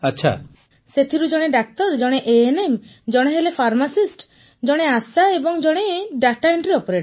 ପୁନମ ନୌଟିଆଲ୍ ସେଥିରୁ ଜଣେ ଡାକ୍ତର ଜଣେ ଏଏନଏମ୍ ଜଣେ ହେଲେ ଫାର୍ମାସିଷ୍ଟ ଜଣେ ଆଶା ଏବଂ ଜଣେ ଦାତା ଏଣ୍ଟ୍ରି ଅପରେଟର